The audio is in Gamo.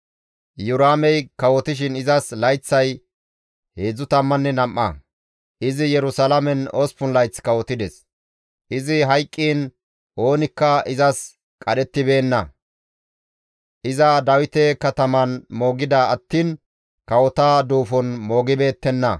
Iyoraamey kawotishin izas layththay 32; izi Yerusalaamen 8 layth kawotides; izi hayqqiin oonikka izas qadhettibeenna; iza Dawite Kataman moogida attiin kawota duufon moogettibeettenna.